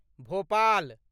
Bhopal